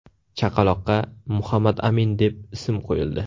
Chaqaloqqa Muhammadamin deb ism qo‘yildi .